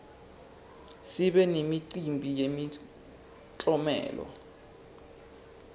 sibe nemicimbi yemiklomelo